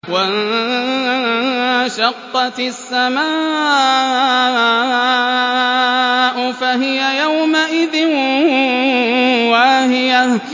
وَانشَقَّتِ السَّمَاءُ فَهِيَ يَوْمَئِذٍ وَاهِيَةٌ